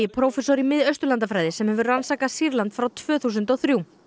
prófessor í Mið Austurlandafræði sem hefur hefur rannsakað Sýrland frá tvö þúsund og þrjú